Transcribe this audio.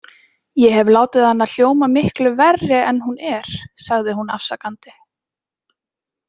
Ég hef látið hana hljóma miklu verri en hún er, sagði hún afsakandi.